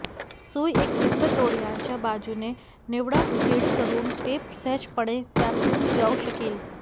सुई एक विस्तृत डोळ्यांच्या बाजूने निवडा जेणेकरून टेप सहजपणे त्यातून जाऊ शकेल